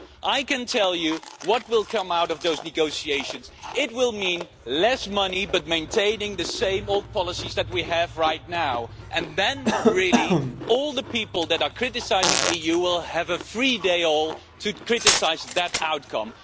I can tell you what will come out of those negotiations it will be less money but maintaining the same old policies that we have right now. Then all the people that are critical of the EU will have a free-for-all day to criticise that outcome.